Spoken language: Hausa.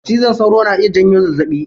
Cizon sauro na iya janyo zazzaɓi.